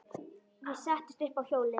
Ég settist upp á hjólið.